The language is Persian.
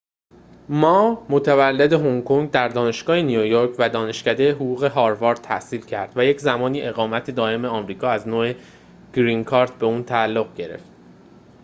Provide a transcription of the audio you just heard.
ما متولد هنگ‌کنگ در دانشگاه نیویورک و دانشکده حقوق هاروارد تحصیل کرد و یک‌زمانی اقامت دائم آمریکا از نوع گرین کارت به او تعلق گرفت